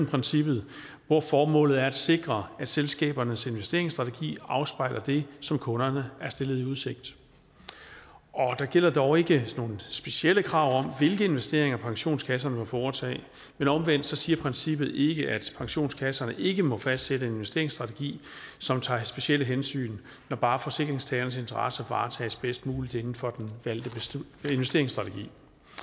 princippet hvor formålet er at sikre at selskabernes investeringsstrategier afspejler det som kunderne er stillet i udsigt der gælder dog ikke nogen specielle krav om hvilke investeringer pensionskasserne må foretage men omvendt siger princippet ikke at pensionskasserne ikke må fastsætte en investeringsstrategi som tager specielle hensyn når bare forsikringstagernes interesser varetages bedst muligt inden for den valgte investeringsstrategi